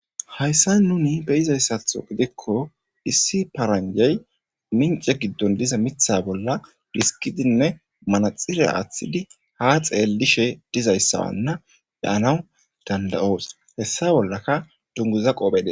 Hayissani be'izayisatho gidikko issi paranijeyi minice gidoni dizza mitha bollani dhisikidine manaxire athidi ha xelishe dizayisa be'anawu danidayosi.